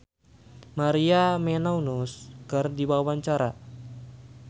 Fadly Padi olohok ningali Maria Menounos keur diwawancara